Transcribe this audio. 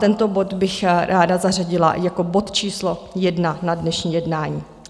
Tento bod bych ráda zařadila jako bod číslo 1 na dnešní jednání.